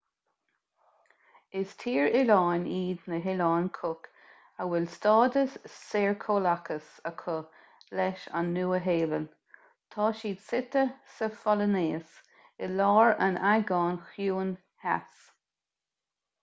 is tír oileáin iad na hoileáin cook a bhfuil stádas saorchomhlachais acu leis an nua-shéalainn tá siad suite sa pholainéis i lár an aigéin chiúin theas